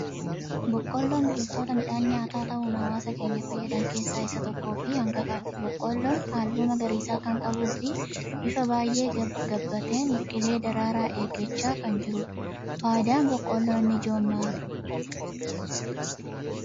Boqolloon biqiltoota midhaan nyaataa ta'uun hawaasa keenya fayyadan keessa isa tokkoo fi isa hangafaati. Boqolloon Kun halluu magariisaa kan qabuu fi bifa baayyee gabbateen biqilee daraara eeggacha kan jirudha. Fayidaan boqolloo inni ijoon maali?